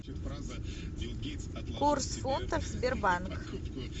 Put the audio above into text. курс фунтов сбербанк